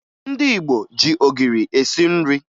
Ndị Igbo ji ogiri esi nri